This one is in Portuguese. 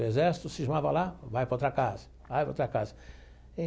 O exército cismava lá, vai para outra casa, vai para outra casa.